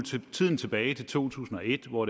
tiden tilbage til to tusind og et hvor